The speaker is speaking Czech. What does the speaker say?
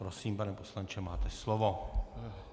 Prosím, pane poslanče, máte slovo.